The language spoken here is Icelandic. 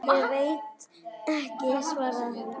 Ég veit ekki, svaraði hann.